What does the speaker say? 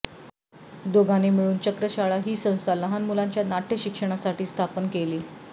दोघांनी मिळून चक्रशाळा ही संस्था लहान मुलांच्या नाटय शिक्षणासाठी स्थापन केली